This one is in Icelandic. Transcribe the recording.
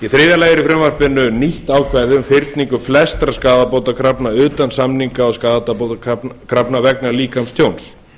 þriðja lagi er í frumvarpinu nýtt ákvæði um fyrningu flestra skaðabótakrafna utan samninga og skaðabótakrafna vegna líkamstjóns